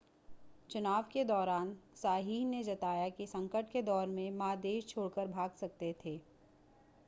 चुनाव के दौरान साइह ने जताया कि संकट के दौर में मा देश छोड़कर भाग सकते हैं